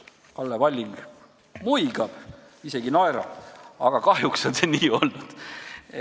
Kalle Palling muigab, isegi naerab, aga kahjuks on see nii olnud.